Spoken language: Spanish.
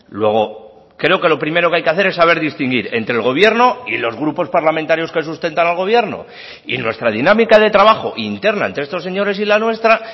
luego creo que lo primero que hay que hacer es saber distinguir entre el gobierno y los grupos parlamentarios que sustentan al gobierno y nuestra dinámica de trabajo interna entre estos señores y la nuestra